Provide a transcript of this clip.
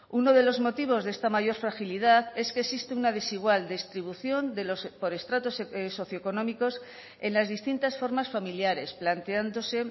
uno de los motivos de esta mayor fragilidad es que existe una desigual distribución por estratos socioeconómicos en las distintas formas familiares planteándose